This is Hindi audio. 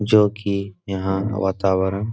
जो की यहाँ वातावरण --